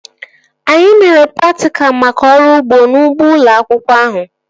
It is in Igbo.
Anyị mere praktikal maka ọrụ ugbo n'ugbo ụlọ akwụkwọ ahụ